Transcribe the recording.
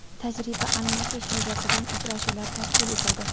tajriba almashish yuzasidan uchrashuvlar tashkil etildi.